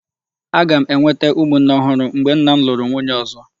Aga m enwete ụmụnne ọhụrụ mgbe nna m lụrụ nwunye ọzọ.